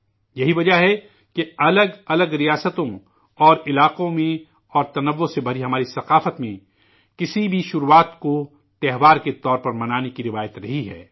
یہی وجہ ہے کہ مختلف ریاستوں اور علاقوں میں الگ الگ راجیوں اور شیتروں میں اور تنوع سے بھری ہماری ثقافت میں کسی بھی شروعات کو اتسو کے طور پر منانے کی روایت رہی ہے